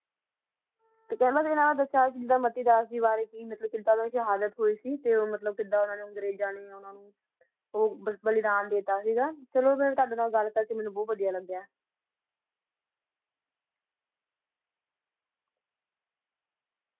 ਤਾ ਖਾਂਦਾ ਕਾ ਅੰਦਾ ਬ੍ਰਾ ਦਾਸਾ ਤਾ ਕੀੜਾ ਜਹਾਲਤ ਹੋਈ ਸੀ ਕੀੜਾ ਓਨਾ ਨਾ ਬਲਿਦਾਨ ਦਾ ਦਿਤੀ ਸੀ